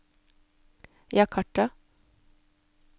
Jakarta